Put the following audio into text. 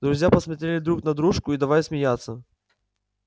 друзья посмотрели друг на дружку и давай смеяться